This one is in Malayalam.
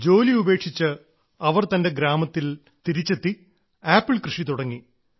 ജോലി ഉപേക്ഷിച്ച് അവർ തന്റെ ഗ്രാമത്തിൽ തിരിച്ചെത്തി ആപ്പിൾ കൃഷി തുടങ്ങി